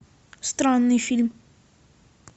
странный фильм